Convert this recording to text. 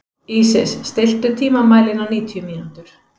Ísis, stilltu tímamælinn á níutíu mínútur.